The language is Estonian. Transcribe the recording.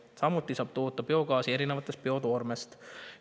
Samuti saab toota biogaasi erinevast biotoormest.